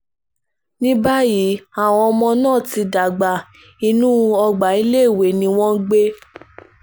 ní báyìí àwọn ọmọ náà ti dàgbà inú ọgbà iléèwé ni wọ́n ń gbé